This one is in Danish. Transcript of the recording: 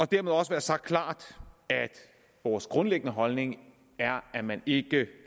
det også sagt klart at vores grundlæggende holdning er at man ikke